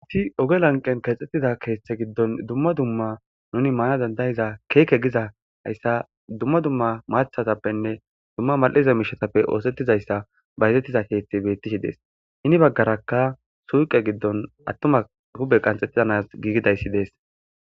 ati oge lanqen keexettida keeththe giddon dumma dumma nuni maana dandayiza keeke giza hayssa dumma dumma maathatappenne dumma mal7iza miishatappe oosettizayssa bayzettiza keeththi bettishi dees hini baggarakka suuqe giddon attuma hube qanxettizanas giigidayssi dees